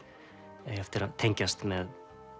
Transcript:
eiga eftir að tengjast með